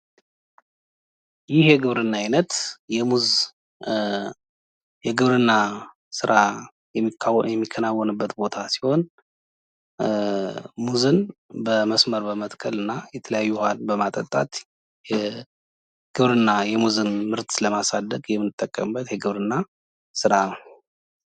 ይህ የግብርና አይነት ሙዝ የግብርና ስራ የሚከናወንበት ቦታ ሲሆን ሙዝን በመስመር በመትከል እና የተለያዩ ዉሃ በማጠጣት የግብርና ሙዝን ምርት ለማሳደግ የምንጠቀምበት የግብርና ስራ ነው።